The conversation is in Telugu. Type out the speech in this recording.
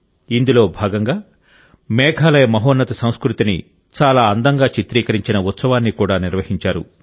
ఇందులో భాగంగా మేఘాలయ మహోన్నత సంస్కృతిని చాలా అందంగా చిత్రీకరించిన ఉత్సవాన్ని కూడా నిర్వహించారు